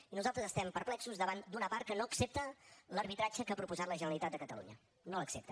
i nosaltres estem perplexos davant d’una part que no accepta l’arbitratge que ha proposat la generalitat de catalunya no l’accepta